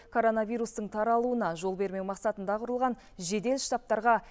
коронавирустың таралуына жол бермеу мақсатында құрылған жедел штабтарға